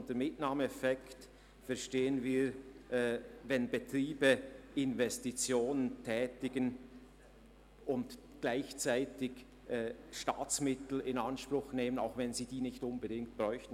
Unter Mitnahmeeffekten verstehen wir, wenn Betriebe Investitionen tätigen und gleichzeitig Staatsmittel in Anspruch nehmen, die sie nicht unbedingt bräuchten.